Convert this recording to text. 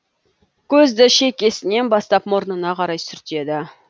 көзді шекесінен бастап мұрнына қарай сүртеді